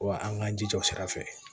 Wa an k'an jija o sira fɛ